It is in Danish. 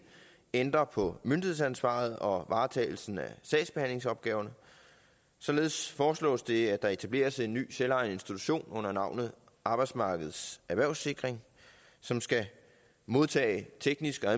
ændre på myndighedsansvaret og varetagelsen af sagsbehandlingsopgaverne således foreslås det at der etableres en ny selvejende institution under navnet arbejdsmarkedets erhvervssikring som skal modtage teknisk og